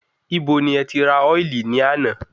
Ibo ni ẹti rà ọ́ìlì ní àná?